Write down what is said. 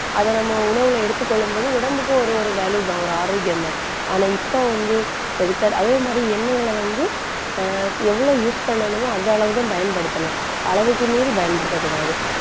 அத நம்ம உணவுல எடுத்துக் கொள்ளும்போது, உடம்புக்கு ஒரு ஒரு வலுதான், ஒரு ஆரோக்கியம் தான். ஆனா இப்ப வந்து எதுக்கா அதே மாதிரி எண்ணெய்களை வந்து ஆஹ் எவ்வளவு use பண்ணணுமோ அந்த அளவு தான் பயன்படுத்தணும் அளவுக்கு மீறி பயன்படுத்தக் கூடாது.